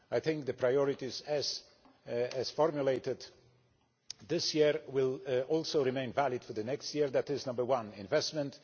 I think the priorities as formulated this year will also remain valid for next year that is, number one investment